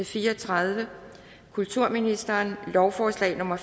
fire og tredive kulturministeren lovforslag nummer